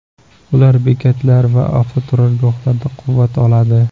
Ular bekatlar va avtoturargohlarda quvvat oladi.